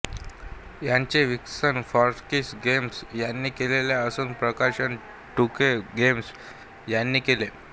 ह्याचे विकसन Firaxis games ह्यांने केलेले असून प्रकाशन टूके गेम्स ह्यांने केले